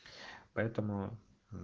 поэтому н